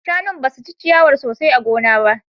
Shanun basu ci ciyawar sosai a gona ba